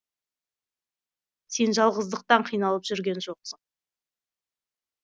сен жалғыздықтан қиналып жүрген жоқсың